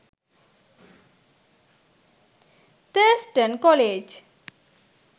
thurstan college